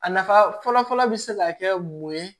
A nafa fɔlɔ fɔlɔ bi se ka kɛ mun ye